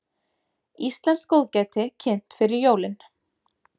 Íslenskt góðgæti kynnt fyrir jólin